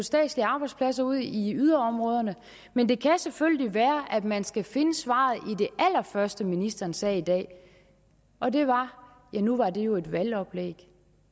statslige arbejdspladser ud i yderområderne men det kan selvfølgelig være at man skal finde svaret det allerførste ministeren sagde i dag og det var ja nu var det jo et valgoplæg